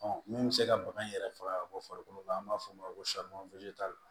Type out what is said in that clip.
min bɛ se ka bagan in yɛrɛ faga bɔ farikolo la an b'a fɔ o ma ko